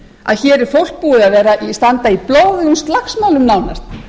að hér er fólk búið að standa í blóðugum slagsmálum nánast